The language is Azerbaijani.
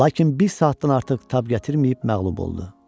Lakin bir saatdan artıq tab gətirməyib məğlub oldu.